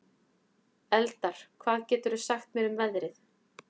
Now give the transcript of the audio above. Eldar, hvað geturðu sagt mér um veðrið?